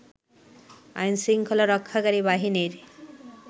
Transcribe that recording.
আইন শৃঙ্খলা রক্ষাকারী বাহিনীর